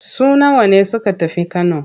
Su nawa ne suka tafi Kano?